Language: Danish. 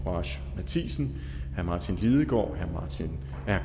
courage matthisen martin lidegaard